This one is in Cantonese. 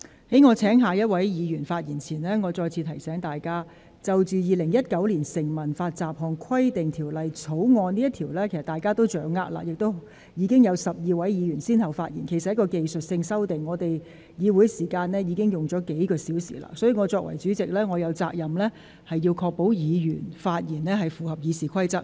在我請下一位議員發言前，我再次提醒各位議員，對於《2019年成文法條例草案》，議員均已有所掌握，而且已有12位議員先後發言，其實《條例草案》涉及的是技術性修訂，而本會已花了數小時就此進行辯論；所以，我作為代理主席，有責任確保議員的發言符合《議事規則》。